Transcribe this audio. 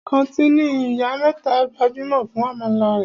Kàńtìnì Ìyá mẹ́ta gbajúmọ̀ fún àmàlà rẹ̀.